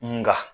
Nka